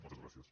moltes gràcies